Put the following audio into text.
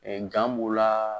b'o la.